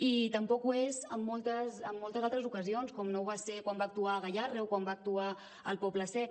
i tampoc ho és en moltes altres ocasions com no ho va ser quan va actuar a gayarre o quan va actuar al poble sec